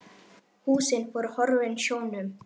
Húsin voru horfin sjónum.